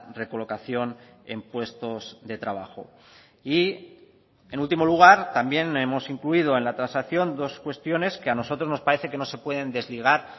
recolocación en puestos de trabajo y en último lugar también hemos incluido en la transacción dos cuestiones que a nosotros nos parece que no se pueden desligar